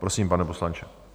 Prosím, pane poslanče.